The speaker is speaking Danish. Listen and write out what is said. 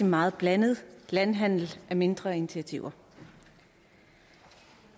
meget blandet landhandel af mindre initiativer